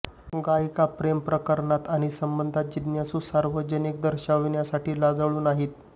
गायिका प्रेमप्रकरणात आणि संबंध जिज्ञासू सार्वजनिक दर्शविण्यासाठी लाजाळू नाही